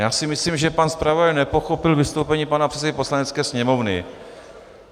Já si myslím, že pan zpravodaj nepochopil vystoupení pana předsedy Poslanecké sněmovny.